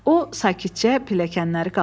O, sakitcə pilləkənləri qalxdı.